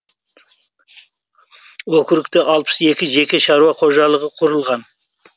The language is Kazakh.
окрутте алпыс екі жеке шаруа қожалығы құрылған